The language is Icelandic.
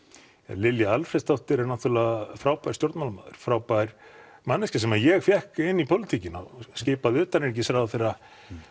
Lilja Alfreðsdóttir er náttúrulega frábær stjórnmálamaður frábær manneskja sem að ég fékk inn í pólitíkina skipaði utanríkisráðherra